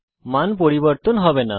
মান পরিবর্তন হবে না